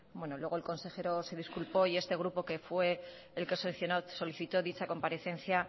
luego el consejero se disculpó y este grupo que fue el que solicitó dicha comparecencia